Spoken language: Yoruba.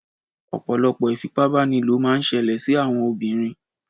Ọ̀pọ̀lọpọ̀ ìfipábánilò máà ń ṣẹlẹ̀ sí àwọn obìnrin.